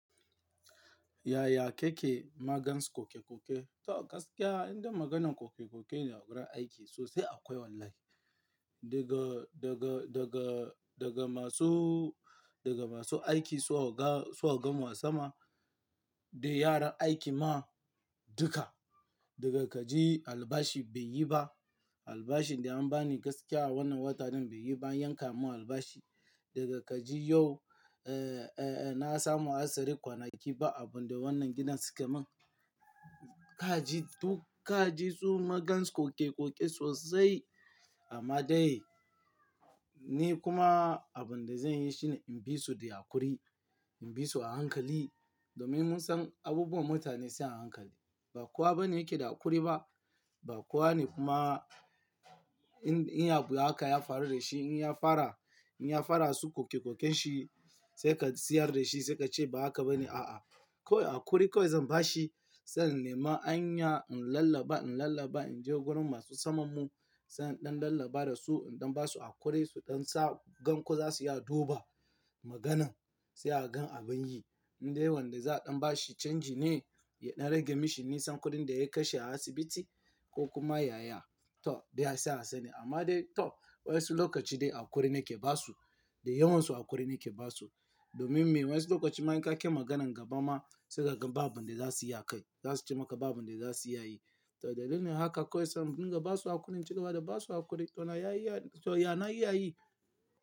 Yaya kake magance ƙoke-ƙoke? To gaskiya inda maganan ƙoke-ƙoke a gurin aiki sosai akwai wallahi. Daga, daga, daga, daga masu, daga masu aiki su oga, su ogan mu a sama da yaran aiki ma duka. Daga kaji albashi bai yi ba, albashin da an bani gaskiya wannan watan nan bai yi ba, an yanka mun albashi. Daga kaji yau, eh, eh, na samu asirin kwanaki ba abin da wannan gidan suka mun. Kaji duk kaji tsuma gans ƙoke-ƙoke sosai amma dai ni kuma abin da zan yi shine in bi su da haƙuri, in bi su a hankali domin mun san abubuwan mutane sai a hankali. Ba kowa bane yake da haƙuri ba. Ba kowa ne kuma in, in ya abu haka ya fara da shi, in ya fara, in ya fara su ƙoke-ƙoken shi sai ka siyar da shi sai ka ce ba haka ba ne, a'a. Kawai haƙuri kawai zan ba shi, sai in nemi anya in lallaba, in lallaba, in je wurin masu saman mu sai in ɗan lallaba da su, in ɗan ba su haƙuri su ɗan sa gan ku za su iya duba maganan sai a gan abin yi. Indai wanda za a ɗan ba shi canji ne, ya ɗan rage mishi nisan kuɗin da ya kashe a asibiti ko kuma yaya. To dai sai a sa ni amma dai to wasu lokaci dai haƙuri ne ke ba su, da yawansu haƙuri ne ke ba su. Domin me? Wasu lokaci man ka ke maganan gaba ma sai ka gan ba abin da za su a kai, za su ce maka ba abin da za su iya yi. To dalilin haka kawai sai in dinga ba su haƙuri in ci gaba da ba su haƙuri to na yi iya, to ya na yi iya yi.